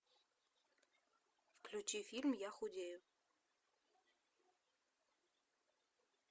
включи фильм я худею